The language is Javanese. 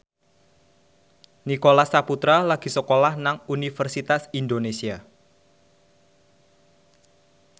Nicholas Saputra lagi sekolah nang Universitas Indonesia